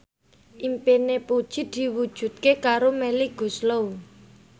impine Puji diwujudke karo Melly Goeslaw